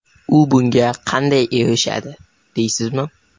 U bunga qanday erishadi, deysizmi?